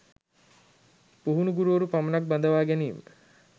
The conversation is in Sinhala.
පුහුණු ගුරුවරු පමණක් බඳවා ගැනීම